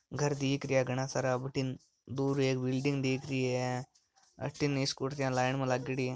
घर दिख रहिया है घना सारा बठीन दूर एक बिल्डिंग दिख रही है अठीने स्कूटियां लाइन में लागयोड़ी है।